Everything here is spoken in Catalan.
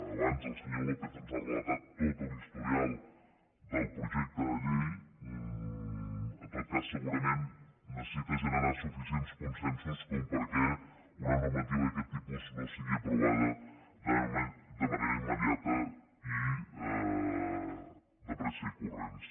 abans el senyor lópez ens ha relatat tot l’historial del projecte de llei en tot cas segurament necessita generar suficients consensos perquè una normativa d’aquest tipus no sigui aprovada de manera immediata i de pressa i corrents